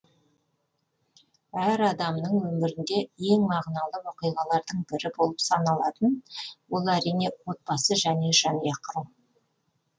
әр адамдардың өмірінде ең мағыналы оқиғалардың бірі болып саналатын ол әрине отбасы және жанұя құру